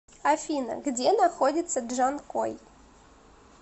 афина где находится джанкой